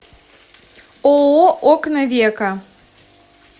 ооо окна века